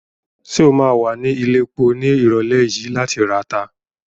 Ṣé o ma wà ní ilẹ̀epo ní ìrọ̀lẹ́ yìí láti rata?